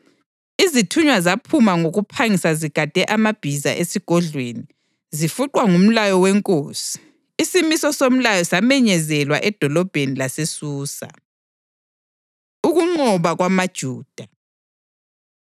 Izithunywa zaphuma ngokuphangisa zigade amabhiza esigodlweni, zifuqwa ngumlayo wenkosi. Isimiso somlayo samenyezelwa edolobheni laseSusa. Ukunqoba KwamaJuda